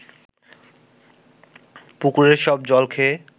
পুকুরের সব জল খেয়ে